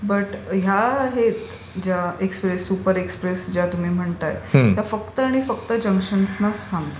But ह्या हे express किंवा सुपर एक्सप्रेस ज्या तुम्ही म्हणताय त्या फक्त आणि फक्त जंक्शन्सनाच थांबतात.